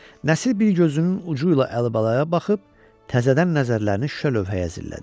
Nəsir bir gözünün ucuyla Əlibalaya baxıb təzədən nəzərlərini şüşə lövhəyə zillədi.